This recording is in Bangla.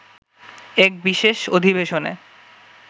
এক বিশেষ অধিবেশনে